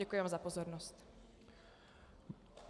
Děkuji vám za pozornost.